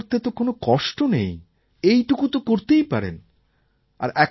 পরীক্ষা করতে তো কোনও কষ্ট নেই এইটুকু তো করতেই পারেন